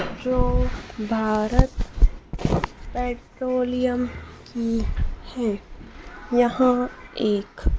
जो भारत पेट्रोलियम की है यहां एक--